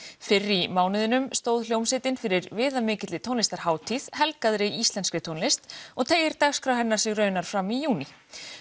fyrr í mánuðinum stóð hljómsveitin fyrir viðamikilli tónlistarhátíð helgaðri íslenskri tónlist og teygir dagskrá hennar sig raunar fram í júní